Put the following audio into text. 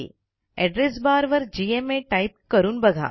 address bar वर G M A type करून बघा